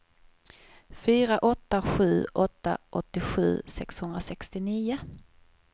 fyra åtta sju åtta åttiosju sexhundrasextionio